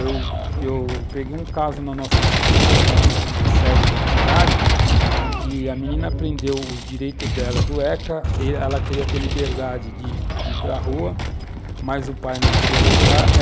Eu eu peguei um caso na nossa sociedade, lá na na sede da entidade, que a menina prendeu os direitos dela do ECA, e ela queria ter liberdade de ir para rua, mas o pai não queria deixar.